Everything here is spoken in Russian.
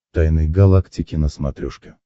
тайны галактики на смотрешке